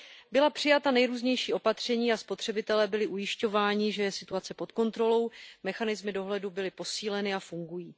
Byla přijata nejrůznější opatření a spotřebitelé byli ujišťováni, že je situace pod kontrolou, mechanismy dohledu byly posíleny a fungují.